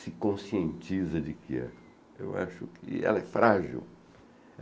se conscientiza de que é, eu acho que ela é frágil